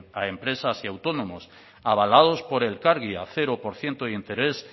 a empresas y autónomos avalados por elkargi a cero por ciento de interés